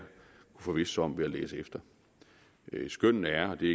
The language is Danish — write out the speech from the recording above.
forvisse sig om ved at læse efter skønnene er det